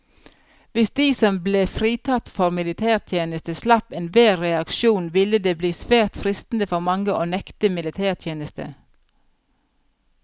Hvis de som ble fritatt for militærtjeneste slapp enhver reaksjon, ville det bli svært fristende for mange å nekte militætjeneste.